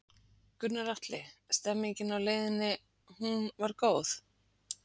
Gunnar Atli: Stemningin á leiðinni, hún var góð?